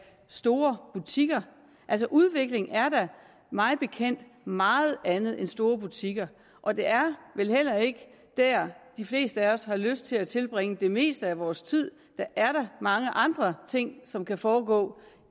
store butikker altså udvikling er da mig bekendt meget andet end store butikker og det er vel heller ikke der de fleste af os har lyst til at tilbringe det meste af vores tid der er mange andre ting som kan foregå